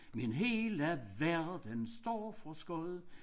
Min hele verden står for skud